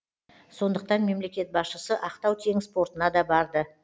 сондықтан мемлекет басшысы ақтау теңіз портына да барды